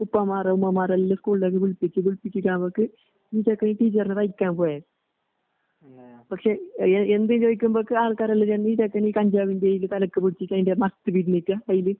ഉപ്പമാറ്, ഉമ്മാമാറെല്ല സ്കൂളിലേക്ക് വിളിപ്പിച്ച് വിളിപ്പിച്ചീട്ടവക്ക് പോയെ പക്ഷെ എ എന്ത്ചോയിക്കുമ്പോക്കെ ആൾക്കാരെല്ലാഞെന്നീചെക്കന്കഞ്ചാവിന്റെയിലി തലക്ക്പിടിച്ചിട്ട് അതിൻ്റെമത്ത്പിഴിഞ്ഞിട്ട് അതില്